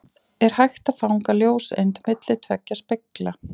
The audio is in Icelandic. Er hægt að fanga ljóseind milli tveggja spegla?